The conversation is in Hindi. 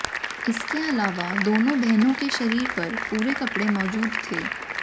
इसके अलावा दोनों बहनों के शरीर पर पूरे कपडे़ मौजूद थे